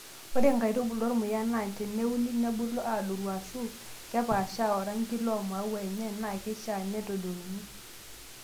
Ore nkaitubulu ormuya naa teneuni nebulu aaadoru ashuu kepaashaa oranki loo maua enye naa keishaa nedotuni.